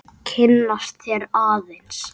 Kynnast þér aðeins.